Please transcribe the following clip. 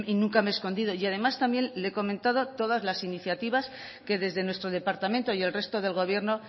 nunca me he escondido y además también le he comentado todas las iniciativas que desde nuestro departamento y el resto del gobierno